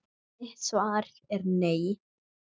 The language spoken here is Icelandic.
Mitt svar er nei.